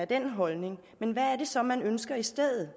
den holdning men hvad er det så man ønsker i stedet